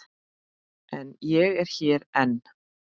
En ég er hér enn.